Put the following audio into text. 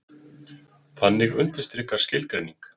Þannig undirstrikar skilgreining